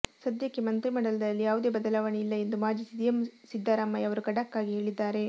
ಸದ್ಯಕ್ಕೆ ಮಂತ್ರಿಮಂಡಲದಲ್ಲಿ ಯಾವುದೇ ಬದಲಾವಣೆ ಇಲ್ಲ ಎಂದು ಮಾಜಿ ಸಿಎಂ ಸಿದ್ದರಾಮಯ್ಯ ಅವರು ಖಡಕ್ ಆಗಿ ಹೇಳಿದ್ದಾರೆ